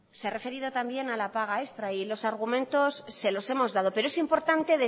se ha referido también a la paga extra y los argumentos se los hemos dado pero es importante